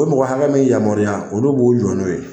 O mɔgɔ hakɛ min yamaruya olu b'u jɔɔ n'o ye.